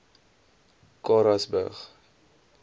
karasburg